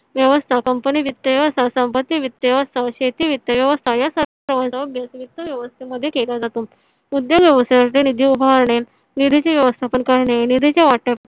व्यवस्थापन पण हे वित्त सहसा संपत्ति वित्त असत. शेती वित्त व्यवस्था या सारखे वित्त व्यवस्थे मध्ये केला जातो. उद्योग व्यवसायातील निधी उभारणे निधी चे व्यवस्थापन करणे निधीचे वाटप